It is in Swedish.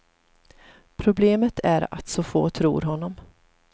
Problemet är att så få tror honom.